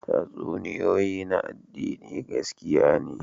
Tatsuniyoyi na addini gaskiya ne